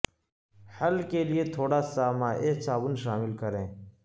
حل کے لئے تھوڑا سا مائع صابن شامل کریں